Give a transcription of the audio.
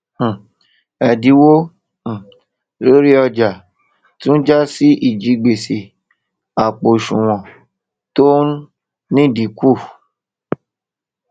um èdínwó um lórí ọjà tún jásí ìjigbèsè àpò òṣùwòn tó n ldínkù